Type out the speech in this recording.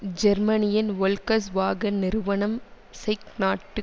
ஜெர்மனியின் Volkswagen நிறுவனம் செக் நாட்டு